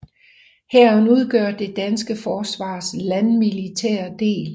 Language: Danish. Hæren udgør det danske forsvars landmilitære del